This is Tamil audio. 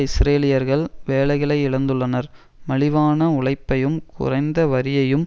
இஸ்ரேலியர்கள் வேலைகளை இழந்துள்ளனர் மலிவான உழைப்பையும் குறைந்த வரியையும்